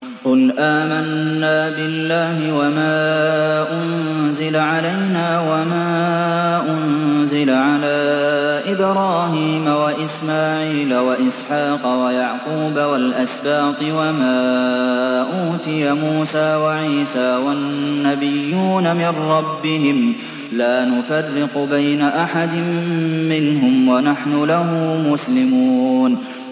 قُلْ آمَنَّا بِاللَّهِ وَمَا أُنزِلَ عَلَيْنَا وَمَا أُنزِلَ عَلَىٰ إِبْرَاهِيمَ وَإِسْمَاعِيلَ وَإِسْحَاقَ وَيَعْقُوبَ وَالْأَسْبَاطِ وَمَا أُوتِيَ مُوسَىٰ وَعِيسَىٰ وَالنَّبِيُّونَ مِن رَّبِّهِمْ لَا نُفَرِّقُ بَيْنَ أَحَدٍ مِّنْهُمْ وَنَحْنُ لَهُ مُسْلِمُونَ